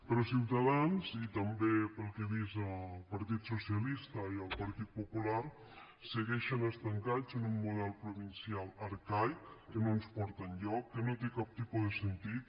però ciutadans i també pel que he vist el partit socialista i el partit popular segueixen estancats en un model provincial arcaic que no ens porta enlloc que no té cap tipus de sentit